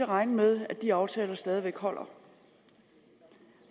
regne med at de aftaler stadig væk holder